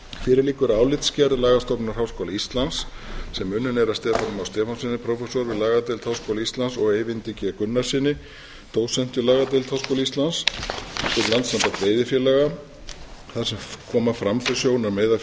fyrir liggur álitsgerð lagastofnunar háskóla íslands sem unnin er af stefáni má stefánssyni prófessor við lagadeild háskóla íslands og eyvindi g gunnarssyni dósent við lagadeild háskóla íslands við landssamband veiðifélaga þar sem koma fram þau sjónarmið að